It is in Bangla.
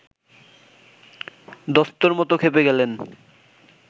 দস্তুরমত খেপে গেলেন